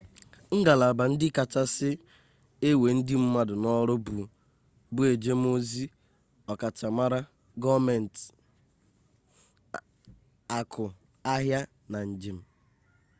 ngalaba ndị kachasị ewe ndị mmadụ n'ọrụ bụ ejemozi ọkachamara gọọmenti akụ ahịa na njem